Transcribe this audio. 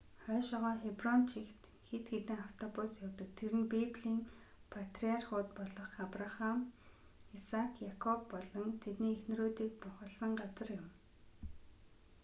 хойшоогоо хеброн чигт хэд хэдэн автобус явдаг тэр нь библийн патриархууд болох абрахам исаак якоб болон тэдний эхнэрүүдийг бунхалсан газар юм